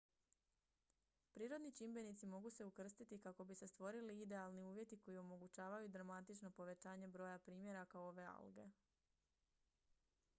prirodni čimbenici mogu se ukrstiti kako bi se stvorili idealni uvjeti koji omogućavaju dramatično povećanje broja primjeraka ove alge